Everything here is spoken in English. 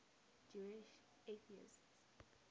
jewish atheists